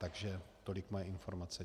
Takže tolik moje informace.